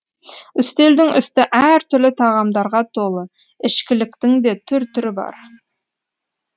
үстелдің үсті әр түрлі тағамдарға толы ішкіліктің де түр түрі бар